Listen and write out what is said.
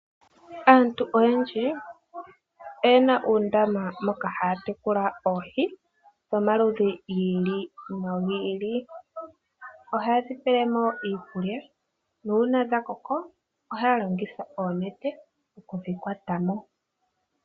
Aantu oyendji oye na uundama moka haya tekula oohi dhomaludhi gi ili no gi ili. Ohaye dhi pele mo iikulya nuuna dha koko ohaya longitha oonete oku dhi kwata mo.